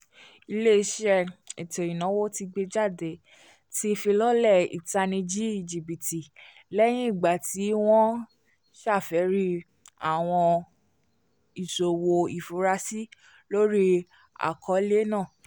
ilé-iṣẹ́ ètó-ìnáwó tí gbéjáde ti fi lọlẹ ìtánìjí jibiti lẹyìn ìgbàtí wọn afẹri awọn ìṣòwò ifurasí lori akọọlẹ náà